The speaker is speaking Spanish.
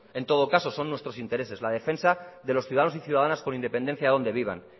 en todo caso son nuestros intereses la defensa de los ciudadanos y ciudadanas con independencia de donde vivan